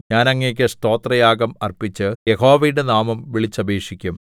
ഞാൻ അങ്ങേക്ക് സ്തോത്രയാഗം അർപ്പിച്ച് യഹോവയുടെ നാമം വിളിച്ചപേക്ഷിക്കും